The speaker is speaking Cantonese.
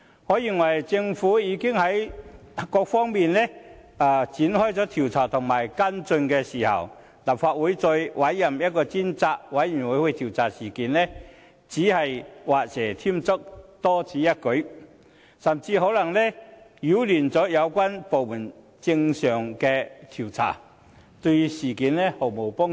我認為在政府已在各方面展開調查和跟進之際，立法會再委任一個專責委員會調查事件只是畫蛇添足，多此一舉，甚至可能擾亂有關部門的正常調查，對事件毫無幫助。